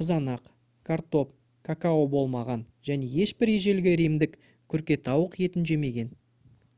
қызанақ картоп какао болмаған және ешбір ежелгі римдік күркетауық етін жемеген